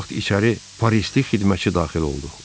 Bu vaxt içəri pərisiz xidmətçi daxil oldu.